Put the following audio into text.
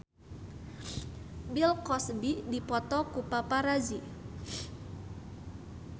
Bill Cosby dipoto ku paparazi